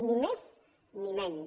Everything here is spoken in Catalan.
ni més ni menys